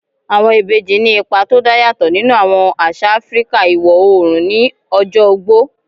Àwọn ìbejì ní ipa tó dá yàtọ̀ nínú àwọn àṣà Áfíríkà iwọ̀ oòrùn ní ọjọ́ ogbó